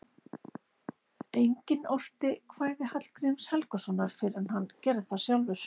Enginn orti kvæði Hallgríms Helgasonar fyrr en hann gerði það sjálfur.